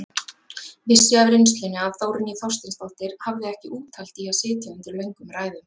Vissi af reynslunni að Þórný Þorsteinsdóttir hafði ekki úthald í að sitja undir löngum ræðum.